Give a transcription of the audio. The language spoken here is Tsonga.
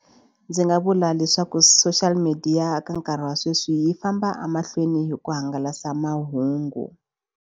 Ndzi nga vula leswaku social media ka nkarhi wa sweswi yi famba emahlweni hi ku hangalasa mahungu.